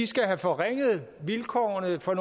skal have forringet vilkårene for